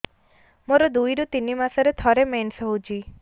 ମୋର ଦୁଇରୁ ତିନି ମାସରେ ଥରେ ମେନ୍ସ ହଉଚି